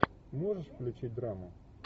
можешь включить драму